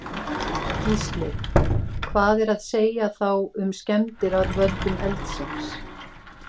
Gísli: Hvað er að segja þá um skemmdir að völdum eldsins?